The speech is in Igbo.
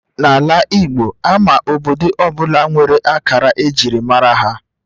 N'ala Igbo, Ama obodo ọ bụla nwere akara ejiri mara ya